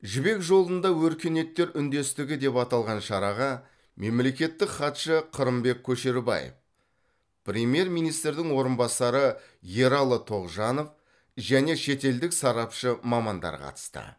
жібек жолында өркениеттер үндестігі деп аталған шараға мемлекеттік хатшы қырымбек көшербаев премьер министрдің орынбасары ералы тоғжанов және шетелдік сарапшы мамандар қатысты